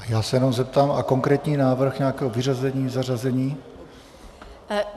Já se jenom zeptám - a konkrétní návrh nějakého vyřazení, zařazení?